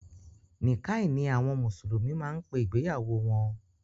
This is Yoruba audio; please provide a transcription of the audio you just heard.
Nìkáì ni àwọn mùsùlùmí máa ń pe ìgbéyàwó wọn